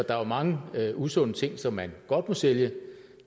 er jo mange usunde ting som man godt må sælge